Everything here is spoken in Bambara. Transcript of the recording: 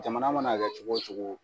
Jamana mana kɛ cogo o cogo